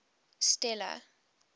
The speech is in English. stella